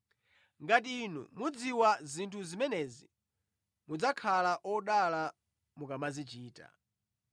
Ngati inu mudziwa zinthu zimenezi, mudzakhala odala mukamazichita.